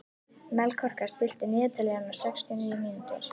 Melkorka, stilltu niðurteljara á sextíu og níu mínútur.